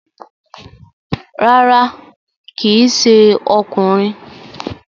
Rárá, kíì ṣe ọkùnrin